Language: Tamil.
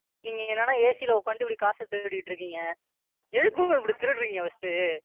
நீங்க என்னடான்னா AC ல உட்கார்ந்துட்டு இப்படி காசை திருடிட்டு இருக்கீங்க. எதுக்கு Ma'am இப்படி திருடுறீங்க First உ,